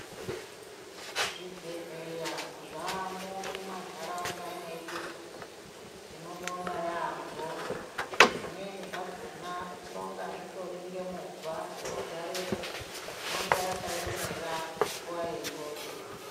Zvibhedhleya zvaamo mumantaraunda mwedu tinobonga yaamho. Zvimweni zvakona zvinonga zvitori ngemovha inogarepo inonga yakaemera nguva yenjodzi.